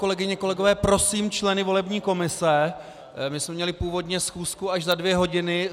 Kolegyně, kolegové, prosím členy volební komise, my jsme měli původně schůzku až za dvě hodiny.